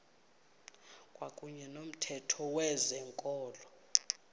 kwakuyne nomthetho wezikolo